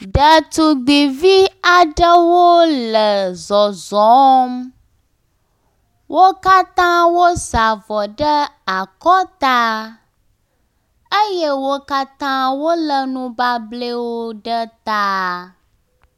Ɖetugbivi aɖewo le zɔzɔm. Wo katã wosa avɔ ɖe akɔta eye wo katã wo le nubablewo ɖe ta.